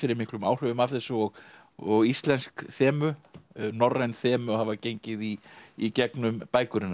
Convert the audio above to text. miklum áhrifum af þessu og og íslensk þemu norræn þemu hafa gengið í í gegnum bækur hennar